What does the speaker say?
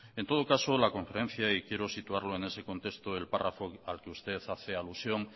en todo caso la conferencia y quiero situarlo en ese contexto el párrafo al que usted hace alusión